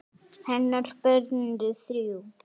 Hennar börn eru þrjú.